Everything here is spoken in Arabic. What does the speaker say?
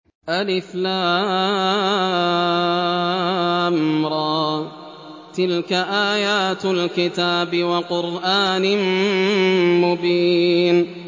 الر ۚ تِلْكَ آيَاتُ الْكِتَابِ وَقُرْآنٍ مُّبِينٍ